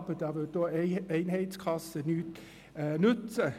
Aber da würde auch die Einheitskasse nichts nützen.